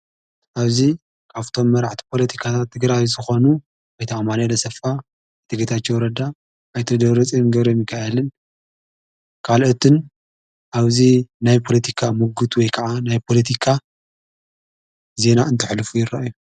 ኣብዙ ቃፍቶም መራዕቲ ጶለቲካ እትግራዊ ተኾኑ ኣይቲ ኣማነ ለሰፋ እትገታኒ ወረዳ ኣይትደብርጽም ገብርምካአልን ቃልኦትን ኣብዙ ናይ ጶሎቲካ ምጕት ወይ ከዓ ናይ ጶለቲካ ዜና እንተኅልፉ ይረኣዩ።